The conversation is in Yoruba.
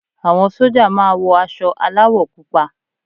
Àwọn sójà máa wọ aṣọ aláwọ̀ púpọ̀